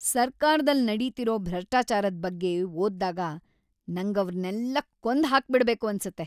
ಸರ್ಕಾರ್‌ದಲ್ಲ್‌ ನಡೀತಿರೋ ಭ್ರಷ್ಟಾಚಾರದ್ ಬಗ್ಗೆ ಓದ್ದಾ‌ಗ ನಂಗವ್ರ್‌ನೆಲ್ಲ ಕೊಂದ್‌ ಹಾಕ್ಬಿಡ್ಬೇಕು ಅನ್ಸತ್ತೆ.